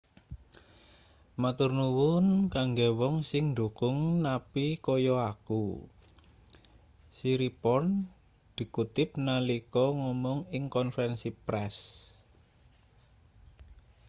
"matur nuwun kanggo wong sing ndukung napi kaya aku siriporn dikutip nalika ngomong ing konferensi press.